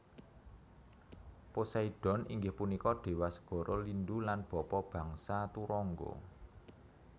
Poseidon inggih punika déwa segara lindhu lan bapa bangsa turangga